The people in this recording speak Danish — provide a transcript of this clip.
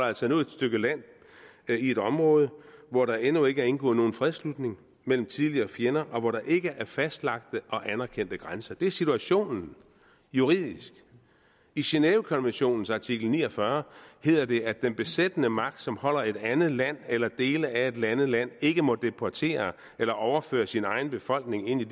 altså et stykke land i et område hvor der endnu ikke er indgået nogen fredsslutning mellem tidligere fjender og hvor der ikke er fastlagte og anerkendte grænser det er situationen juridisk i genèvekonventionens artikel ni og fyrre hedder det at den besættende magt som holder et andet land eller dele af et andet land ikke må deportere eller overføre sin egen befolkning ind i